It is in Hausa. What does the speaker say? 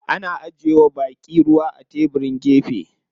Ana ajiye wa baƙi ruwa a tebirin gefe.